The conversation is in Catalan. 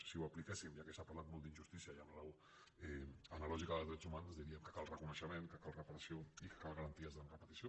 si ho apliquéssim ja que s’ha parlat molt d’injustícia i amb raó amb la lògica dels drets humans diríem que cal reconeixement que cal reparació i que calen garanties de reparació